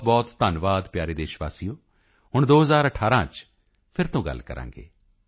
ਬਹੁਤਬਹੁਤ ਧੰਨਵਾਦ ਪਿਆਰੇ ਦੇਸ਼ ਵਾਸੀਓ ਹੁਣ 2018 ਚ ਫਿਰ ਤੋਂ ਗੱਲ ਕਰਾਂਗੇ